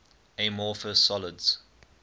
amorphous solids